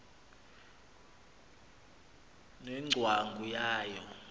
ne ngcwangu yayo